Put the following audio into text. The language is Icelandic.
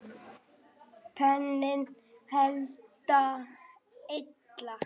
Beinin halda illa.